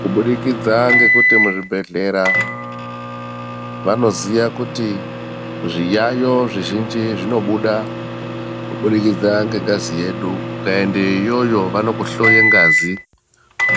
Kubudikidza ngekuti muzvibhedhleya vanoziya kuti zviyayo zvizhinji zvinobuda kubudikidza ngengazi yedu ukaende iyoyo vanokuhloye ngazi